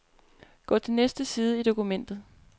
Gå til næste side i dokumentet.